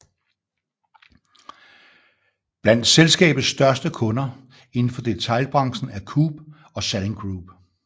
Blandt selskabets største kunder inden for detailbranchen er Coop og Salling Group